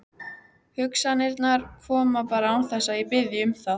Hugsanirnar koma bara án þess að ég biðji um það.